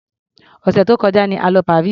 Òsẹ̀ tó kọjá ni a lọ Paris.